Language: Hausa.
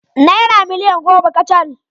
Naira miliyan goma kacal